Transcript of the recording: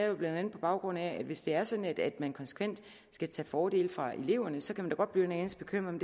jo blandt andet på baggrund af at hvis det er sådan at man konsekvent skal tage fordele fra eleverne så kan man da godt blive en anelse bekymret